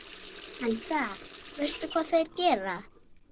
Hefurðu rætt þetta við hann?